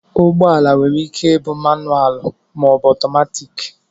ụgbọala nwere ike ịbụ akwụkwo mánụalụ maọbu ọtọmatiki